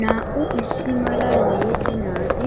Naa"u issi mala lee'e naati